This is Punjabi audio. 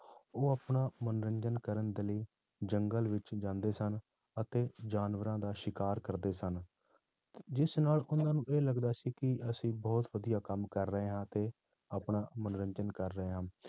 ਉਹ ਆਪਣਾ ਮਨੋਰੰਜਨ ਕਰਨ ਦੇ ਲਈ ਜੰਗਲ ਵਿੱਚ ਜਾਂਦੇ ਸਨ ਅਤੇ ਜਾਨਵਰਾਂ ਦਾ ਸ਼ਿਕਾਰ ਕਰਦੇ ਸਨ, ਜਿਸ ਨਾਲ ਉਹਨਾਂ ਨੂੰ ਇਹ ਲੱਗਦਾ ਸੀ ਕਿ ਅਸੀਂ ਬਹੁਤ ਵਧੀਆ ਕੰਮ ਕਰ ਰਹੇ ਹਾਂ ਤੇ ਆਪਣਾ ਮਨੋਰੰਜਨ ਕਰ ਰਹੇ ਹਾਂ।